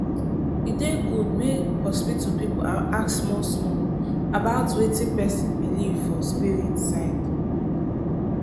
e dey good make hospital people ask small-small about wetin person believe for spirit side.